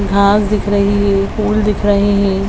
घास दिख रही है फूल दिख रहे है।